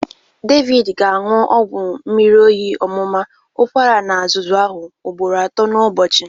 David ga-aṅụ ọgwụ mmiri oyi ọmụma, ụkwara na azụzụ ahụ ụgbọro atụ n'ubochi.